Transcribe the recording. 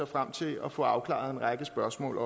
frem til at få afklaret en række spørgsmål